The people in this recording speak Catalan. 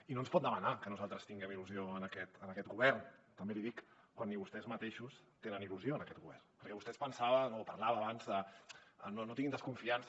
i no ens pot demanar que nosaltres tinguem il·lusió en aquest govern també l’hi dic quan ni vostès mateixos tenen il·lusió en aquest govern perquè vostè es pensava o parlava abans de no no tinguin desconfiança